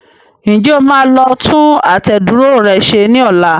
Ǹjẹ́ o máa lọ tún àtẹ̀dúró rẹ ṣe ní ọlá?